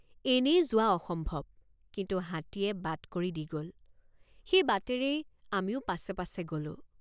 এনেয়ে যোৱা অসম্ভৱ কিন্তু হাতীয়ে বাট কৰি দি গ'ল সেই বাটেৰেই আমিও পাছে পাছে গ'লোঁ।